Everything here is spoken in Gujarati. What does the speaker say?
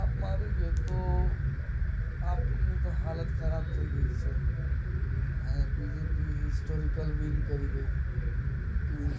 આપ માં આવી ગયો તો આપ ની તો હાલત ખરાબ થઇ ગઈ